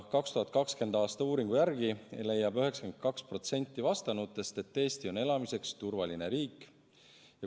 2020. aasta uuringu järgi leiab 92% vastanutest, et Eesti on elamiseks turvaline riik.